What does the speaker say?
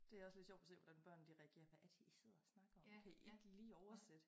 Det også ldit sjovt at se hvordan børn de reagerer hvad er det i sidder og snakker om kan i ikke lige oversætte